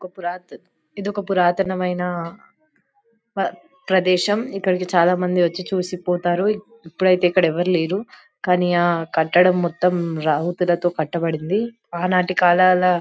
ఒక పురాత్ ఇది ఒక పురాతనమైన ఆ ప్రదేశం ఇక్కడికి చాల మంది వచ్చి చూసిపోతారు ఇప్పుడైతే ఇక్కడ ఎవరు లేరు కానీ ఆ కట్టడం మొత్తం కట్టబడింది ఆ నాటి కాలాల --